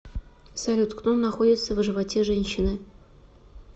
салют кто находится в животе женщины